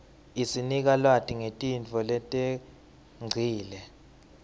isinika lwati ngetintfo letengcile